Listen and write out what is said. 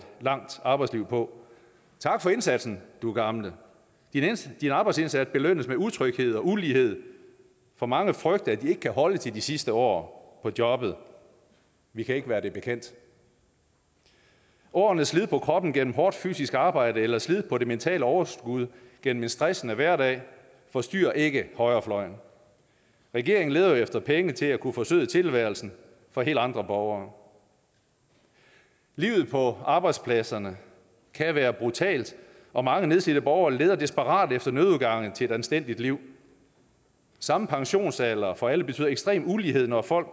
langt arbejdsliv på tak for indsatsen du gamle din arbejdsindsats belønnes med utryghed og ulighed for mange frygter at de ikke kan holde til de sidste år på jobbet vi kan ikke være det bekendt årenes slid på kroppen gennem hårdt fysisk arbejde eller slid på det mentale overskud gennem en stressende hverdag forstyrrer ikke højrefløjen regeringen leder jo efter penge til at kunne forsøde tilværelsen for helt andre borgere livet på arbejdspladserne kan være brutalt og mange nedslidte borgere leder desperat efter nødudgange til et anstændigt liv samme pensionsalder for alle betyder ekstrem ulighed når folk